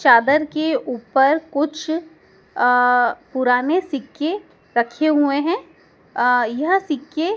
चादर के ऊपर कुछ अह पुराने सिक्के रखे हुए हैं अह यह सिक्के--